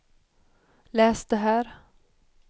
läs det där